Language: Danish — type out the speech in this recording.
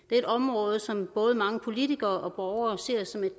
er et område som både mange politikere og borgere ser som et